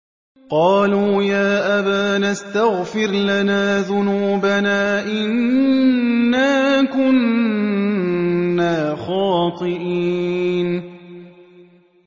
قَالُوا يَا أَبَانَا اسْتَغْفِرْ لَنَا ذُنُوبَنَا إِنَّا كُنَّا خَاطِئِينَ